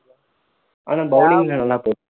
ஆனா bowling ல நல்லா